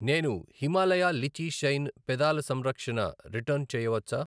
నేను Himalaya lychee shine పెదాల సంరక్షణ రిటర్న్ చేయవచ్చా?